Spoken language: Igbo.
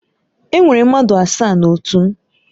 Enwere mmadụ asaa na otu m.